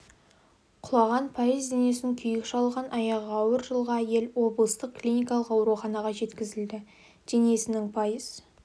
құлаған пайыз денесін күйік шалған аяғы ауыр жылғы әйел облыстық клиникалық ауруханаға жеткізілді денесінің пайыз